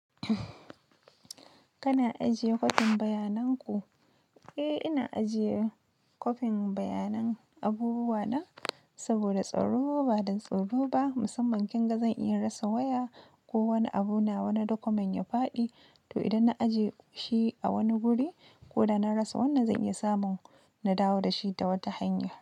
Kana ajiye kwafin bayanan ku? Eh ina ajiye kwafin bayanan abubuwa na saboda tsaro. Ba don tsoro ba, musamman kin ga zan iya rasa waya ko wani abu nawa na document ya faɗi. To idan na ajiye shi a wani guri ko da na rasa wannan zai iya samun na dawo da shi ta wata hanya.